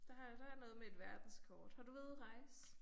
Der er der er noget med et verdenskort. Har du været ude at rejse?